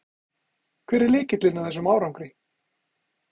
Hver er lykillinn að þessum árangri?